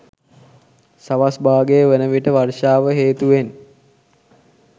සවස් භාගය වන විට වර්ෂාව හේතුවෙන්